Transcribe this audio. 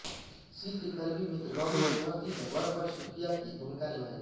seal के करीबी मित्र रॉबिन दोहर्ती ने वरपक्ष के मुखिया की भूमिका निभाई